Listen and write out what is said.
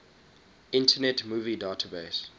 internet movie database